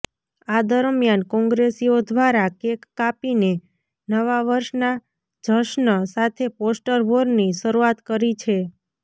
આ દરમિયાન કોંગ્રેસીઓ ઘ્વારા કેક કાપીને નવા વર્ષના જશ્ન સાથે પોસ્ટર વોરની શરૂઆત કરી છે